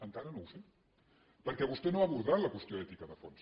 encara no ho sé perquè vostè no ha abordat la qüestió ètica de fons